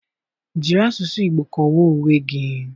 Jiri asụsụ Igbo kọwaa onwe gị.